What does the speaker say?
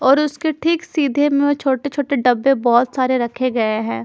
और उसके ठीक सीधे में छोटे छोटे डब्बे बहोत सारे रखे गये है।